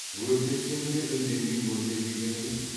өртенсең де үндемей өртен дегені ме